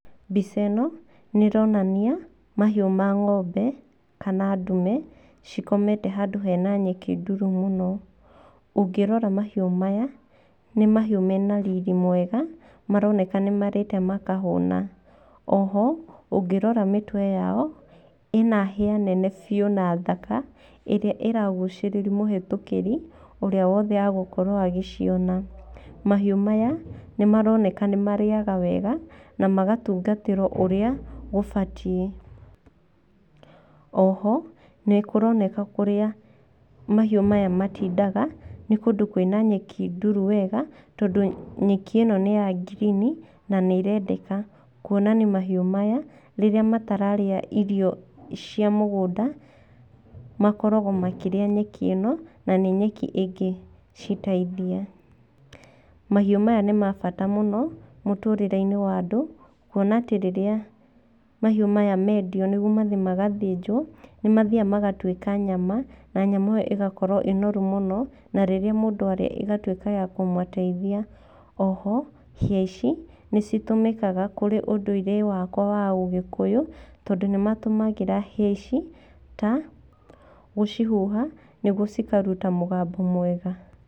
Mbica ĩno nĩ ĩronania mahiũ ma ng'ombe kana ndume cikomete handũ hena nyeki nduru mũno. Ũngirora mahiũ maya, nĩ mahiũ mena riri mwega maroneka nĩ marĩte makahũna. Oho ũngĩrora mĩtwe yao, ĩna hĩa nene biũ na thaka ĩrĩa ĩragucĩrĩria mũhĩtũkĩrĩ ũrĩa wothe agũkorwo agĩciona. Mahiũ maya nĩ maroneka nĩ marĩaga wega na magatungatĩrwo urĩa ũbatiĩ. Oho nĩ kũroneka kũrĩa mahiũ maya matindaga nĩ kũndũ kwĩna nyeki nduru wega tondũ nyeki ĩno nĩ ya green na nĩ ĩrendeka. Kuonania mahiũ maya rĩrĩa matararĩa irio cia mũgũnda makoragwo makĩrĩa nyeki ĩno na nĩ nyeki ĩngĩciteithia. Mahiũ maya nĩ ma bata mũno mũtũũrĩreinĩ wa andũ. Kuona atĩ rĩrĩa mahiũ maya mendio nĩguo mathiĩ magathĩnjwo, nĩ mathiaga magatuĩka nyama, na nyama ĩyo ĩkoragwo ĩĩ noru mũno, na rĩrĩa mũndũ arĩa ĩgatuĩka ya kũmũteithia. Oho hĩa ici nĩ citũmĩkaga kũrĩ ũndũirĩ wakwa wa Ũgĩkũyũ tondũ nĩ matũmagĩra hĩa ici ta gũcihuha nĩguo cikaruta mũgambo mwega.